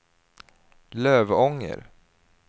Lövånger